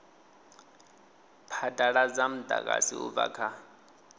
phadaladza mudagasi u bva kha